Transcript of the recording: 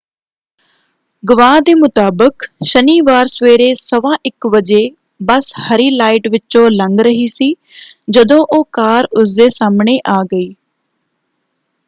ਗਵਾਹ ਦੇ ਮੁਤਾਬਕ ਸ਼ਨੀਵਾਰ ਸਵੇਰੇ 1:15 ਵਜੇ ਬੱਸ ਹਰੀ ਲਾਈਟ ਵਿਚੋਂ ਲੰਘ ਰਹੀ ਸੀ ਜਦੋਂ ਉਹ ਕਾਰ ਉਸਦੇ ਸਾਹਮਣੇ ਆ ਗਈ।